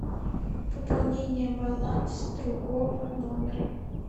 пополнение баланса другого номера